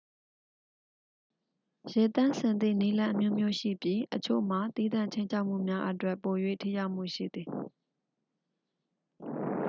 ရေသန့်စင်သည့်နည်းလမ်းအမျိုးမျိုးရှိပြီး အချို့မှာ သီးသန့်ခြိမ်းခြောက်မှုများအတွက် ပို၍ ထိရောက်မှုရှိသည်